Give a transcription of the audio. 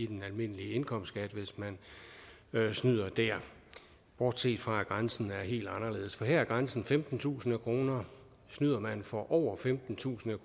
den almindelige indkomstskat hvis man snyder der bortset fra at grænsen er helt anderledes for her er grænsen femtentusind kroner snyder man for over femtentusind